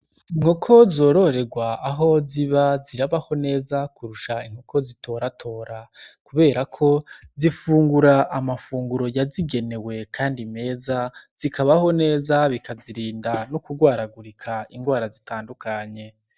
Inkoko zororegwa aho ziba zirabaho neza kurusha inkoko zitoratora kureba ko zifungura amafunguro yazigenewe kandi meza zikabaho neza bikazirinda no kugwaragurika ingwara zitandukanye.